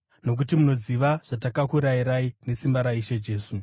Nokuti munoziva zvatakakurayirai nesimba raIshe Jesu.